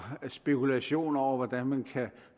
spekulationer over hvordan man kan